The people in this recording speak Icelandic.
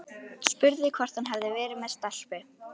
Spurði hvort hann hefði verið með stelpu.